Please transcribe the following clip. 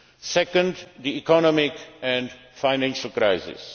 as China. Secondly, the economic and financial